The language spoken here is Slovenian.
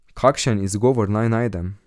Kakšen izgovor naj najdem?